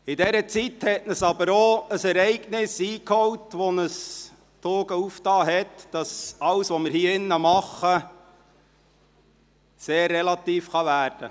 In dieser Zeit holte uns aber auch ein Ereignis ein, das uns die Augen geöffnet und gezeigt hat, dass alles, was wir hier drinnen tun, sehr relativ werden kann.